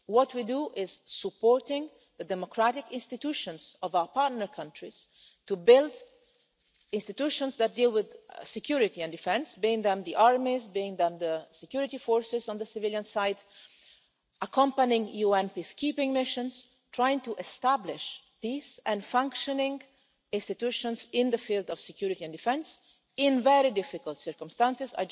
What we do is support the democratic institutions of our partner countries to build institutions that deal with security and defence be they the armies or the security forces on the civilian side and accompany UN peacekeeping missions trying to establish peace and functioning institutions in the field of security and defence in very difficult circumstances.